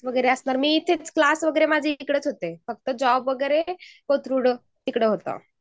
हो माझे क्लास वगैरे इकडेच होते. फक्त जॉब वगैरे कोथरुनद तिकडे होता